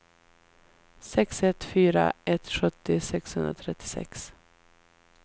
sex ett fyra ett sjuttio sexhundratrettiosex